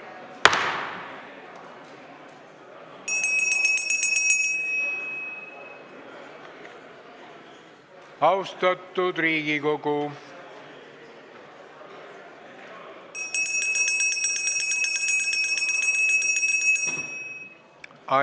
Austatud Riigikogu!